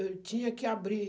Eu tinha que abrir.